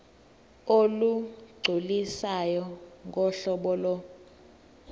olugculisayo ngohlobo lo